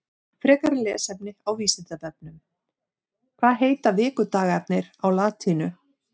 Frekara lesefni á Vísindavefnum Hvað heita vikudagarnir á latínu?